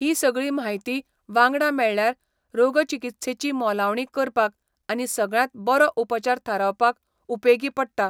ही सगळी म्हायती, वांगडा मेळ्ळ्यार, रोगचिकित्सेची मोलावणी करपाक आनी सगळ्यांत बरो उपचार थारावपाक उपेगी पडटा.